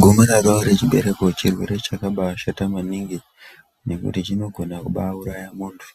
Gomarara rechibereko chirwere chakaba ashata maningi ,nekuti chinogona kubaauraya muntu,